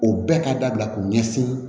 O bɛɛ ka dabila k'o ɲɛsin